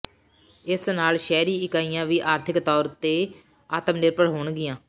ਇਸ ਨਾਲ ਸ਼ਹਿਰੀ ਇਕਾਈਆਂ ਵੀ ਆਰਥਿਕ ਤੌਰ ਉਤੇ ਆਤਮ ਨਿਰਭਰ ਹੋਣਗੀਆਂ